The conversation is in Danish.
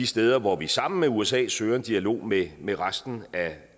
steder hvor vi sammen med usa søger en dialog med med resten